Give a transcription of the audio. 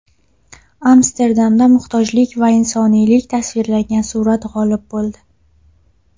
Amsterdamda muhtojlik va insoniylik tasvirlangan surat g‘olib bo‘ldi .